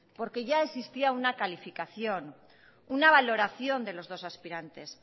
porque ya existía una calificación una valoración de los dos aspirantes